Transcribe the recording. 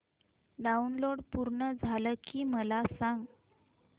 download पूर्ण झालं की मला सांग